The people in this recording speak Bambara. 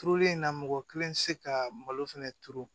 Turuli in na mɔgɔ kelen tɛ se ka malo fɛnɛ turu